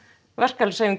verkalýðshreyfing